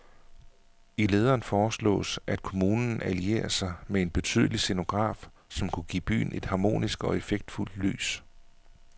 I lederen foreslås, at kommunen allierer sig med en betydelig scenograf, som kunne give byen et harmonisk og effektfuld lys.